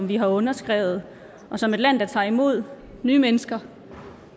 vi har underskrevet og som et land der tager imod nye mennesker